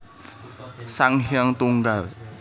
Sang Hyang Tunggal